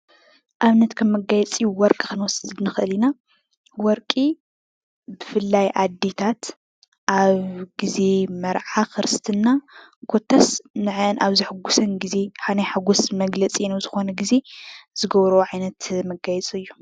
ኣብነት ከም መጋየፂ ወርቂ ክንወስድ ንክእል ኢና። ወርቂ ብፍላይ ኣዴታት ኣብ ግዜ መርዓ ክርስትና ኮታስ ንዕዐን ኣብ ዘሐጉሰን ግዜ ኣብ ናይ ሓጎስ መግለፂ ኣብ ዝኾነ ግዜ ዝገብርኦ ዓይነት መጋየፂ እዩ።